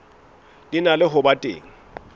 di na ho ba teng